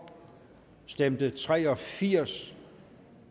stemte tre og firs